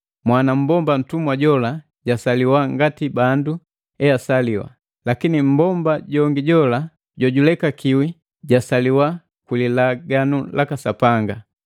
Mwana mmbomba mtumwa jola jasaliwa ngati bandu esaliwa, lakini mmbomba jongi jola jojulekakiwi jasaliwa kwi Lilaganu laka Sapanga.